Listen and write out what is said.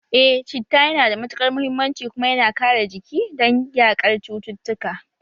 Eh citta yana da matukar muhimmanci kuma yana kare jiki don yaƙar cututtuka